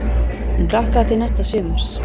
Hún hlakkaði til næsta sumars.